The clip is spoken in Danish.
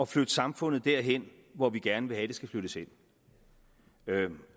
flytte samfundet derhen hvor vi gerne vil have at det skal flyttes hen